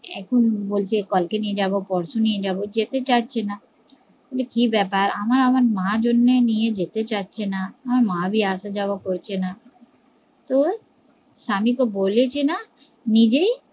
এখন বলছে কালকে নিয়ে যাবো পরশু নিয়ে যাবো, যেতে চাচ্ছে না, বলে কি ব্যাপার আমার মার জন্য নিয়ে যেতে যাচ্ছে না, আমার মা ভি আসা যাওয়া করছে না স্বামী কে বলেছি না নিজেই